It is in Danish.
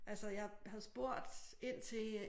Altså jeg havde spurgt ind til øh